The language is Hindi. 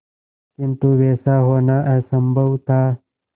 किंतु वैसा होना असंभव था